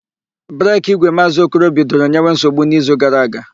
Breki ígwè Maazị Okoro bidoro nyewe nsogbu n'izu gara aga.